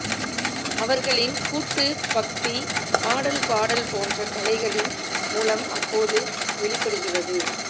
அவர்களின் கூட்டுபக்தி ஆடல் பாடல் போன்ற கலைகளின் மூலம் அப்போது வெளிப்படுகிறது